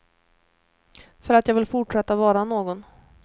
För att jag vill fortsätta vara någon.